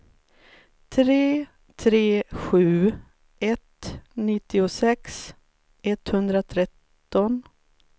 tre tre sju ett nittiosex etthundratretton